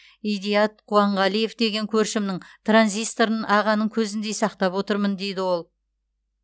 идаят қуанғалиев деген көршімнің транзисторын ағаның көзіндей сақтап отырмын дейді ол